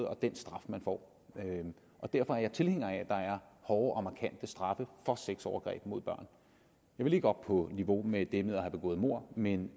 og den straf man får derfor er jeg tilhænger af at der er hårde og markante straffe for sexovergreb mod børn jeg vil ikke op på niveau med det med at have begået mord men